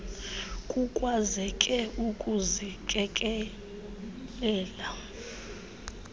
kukwazeke ukuzi kelela